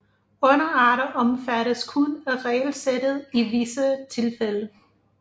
Underarter omfattes kun af regelsættet i visse tilfælde